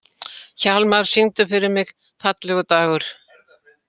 Hjálmar, syngdu fyrir mig „Fallegur dagur“.